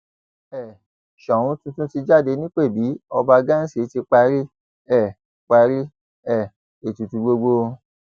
um ṣòun tuntun ti jáde nípẹbí ọba ghansi ti parí um parí um ètùtù gbogbo